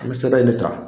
An bɛ sɛbɛn in de ta